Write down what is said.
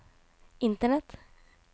internett